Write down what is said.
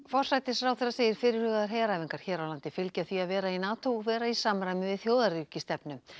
forsætisráðherra segir fyrirhugaðar heræfingar hér á landi fylgja því að vera í NATO og vera í samræmi við þjóðaröryggisstefnu